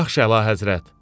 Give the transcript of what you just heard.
Yaxşı, əla həzrət.